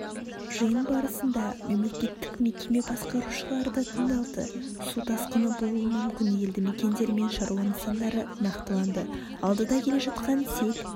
жиын барысында мемлекеттік мекеме басқарушылары да тыңдалды су тасқыны болуы мүкіні елді мекендер мен шаруа нысандары нақтыланды алдыда келе жатқан сел